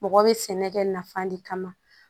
Mɔgɔ bɛ sɛnɛ kɛ nafa de kama